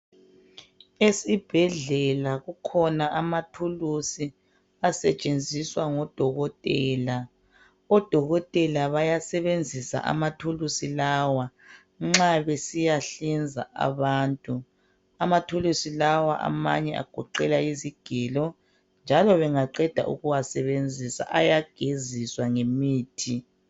Esibhedlela kukhona amathulusi asetshenziswa ngodokotela. Odokotela bayasebenzisa amathulusi lawa nxa besiya hlinza abantu. Amathulusi lawa amanye agoqela izigelo njalo bengaqeda ukuwasebenzisa, ayageziswa ngemithi.